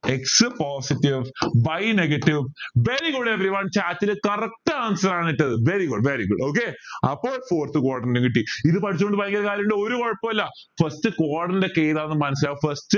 x positive y negative very good everyone chat ൽ correct answer ആണ് ഇട്ടത് very good very good okay അപ്പോൾ fourth quadrant കിട്ടി ഇത് പഠിച്ചോണ്ട് ഭയങ്കര കാര്യോ ഉണ്ടോ ഒരു കൊഴപ്പോ ഇല്ല first quadrant ഏതാ മനസിലാക്ക first